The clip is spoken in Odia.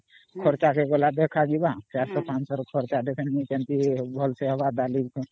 ଅମ୍400 ରୁ 500 ରେ ଫେନି ଦେଖାଯିବ ଅମ୍